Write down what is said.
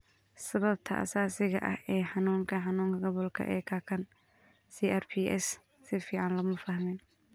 Sababta asaasiga ah ee xanuunka xanuunka gobolka ee kakan (CRPS) si fiican looma fahmin.